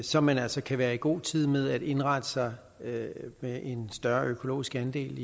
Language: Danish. så man altså kan være i god tid med at indrette sig med med en større økologisk andel